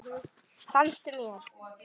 Fannst mér.